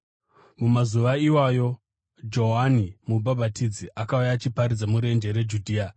Mumazuva iwayo Johani Mubhabhatidzi akauya achiparidza murenje reJudhea,